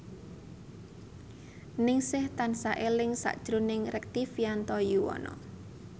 Ningsih tansah eling sakjroning Rektivianto Yoewono